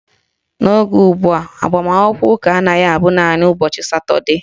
N'oge ugbua, agbamakwụkwọ ụka anaghị abụ naanị ụbọchị Satọdee